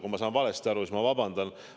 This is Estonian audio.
Kui ma sain valesti aru, siis ma palun vabandust.